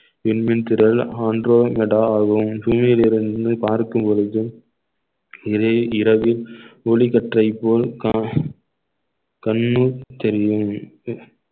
விண்மின் திறள் புவியிலிருந்து பார்க்கும் பொழுது இதே இரவில் ஒளி கற்றை போல் கற்~ கண்ணு தெரியும்